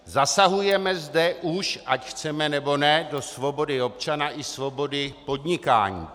Zasahujeme zde už, ať chceme, nebo ne, do svobody občana i svobody podnikání.